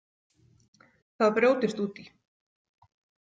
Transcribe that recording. það brjótist út í.